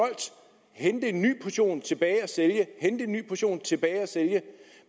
hente en ny portion tilbage at sælge hente en ny portion tilbage at sælge